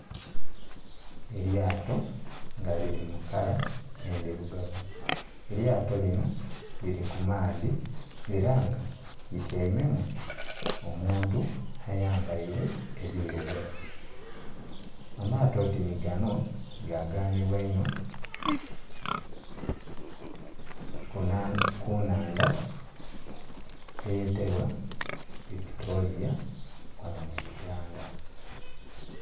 Eryato nga liri mukala endhirugavu, eryato lino liri kumaadhi era nga lityaime mu omuntu ayambaire ebirugavu. Amaato oti ni gano gaganibwa inho kunhandha eye tebwa Victoria ghano mu uganda.